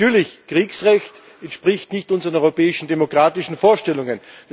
Natürlich entspricht Kriegsrecht nicht unseren europäischen demokratischen Vorstellungen.